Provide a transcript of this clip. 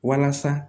Walasa